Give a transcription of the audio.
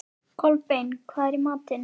Kolbeinn, hvað er í matinn?